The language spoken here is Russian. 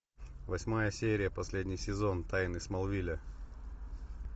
восьмая серия последний сезон тайны смолвиля